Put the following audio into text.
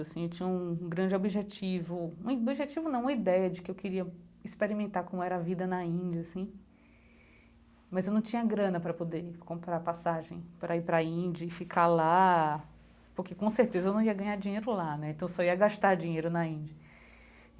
Assim eu tinha um um grande objetivo, um objetivo não, uma ideia de que eu queria experimentar como era a vida na Índia assim, mas eu não tinha grana para poder comprar passagem, para ir para a Índia e ficar lá, porque com certeza eu não ia ganhar dinheiro lá né, então só ia gastar dinheiro na Índia.